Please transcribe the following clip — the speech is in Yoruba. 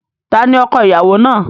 Ta ni ọko-ìyàwó náà?